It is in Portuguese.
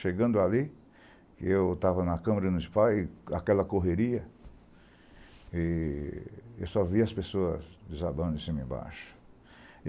Chegando ali, eu estava na câmara no SPA, aquela correria, e eu só vi as pessoas desabando de cima e embaixo.